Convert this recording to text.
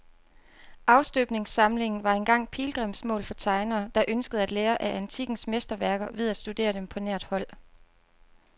Afstøbningssamlingen var engang pilgrimsmål for tegnere, der ønskede at lære af antikkens mesterværker ved at studere dem på nært hold.